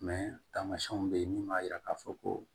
tamasiyɛnw be yen min b'a yira k'a fɔ ko